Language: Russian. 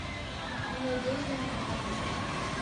надежда айдаровна